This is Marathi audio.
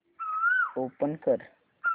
ओपन कर